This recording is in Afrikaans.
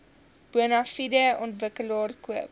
bonafide ontwikkelaar koop